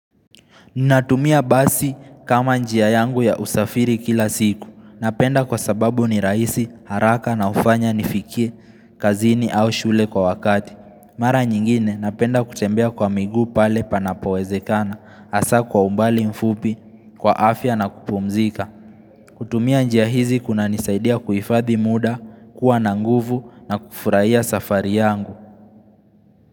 Ninatumia basi kama njia yangu ya usafiri kila siku. Napenda kwa sababu ni rahisi haraka na ufanya nifikie, kazini au shule kwa wakati. Mara nyingine napenda kutembea kwa miguu pale panapowezekana, hasa kwa umbali mfupi, kwa afya na kupumzika. Kutumia njia hizi kunanisaidia kuhifadhi muda, kuwa na nguvu na kufurahia safari yangu.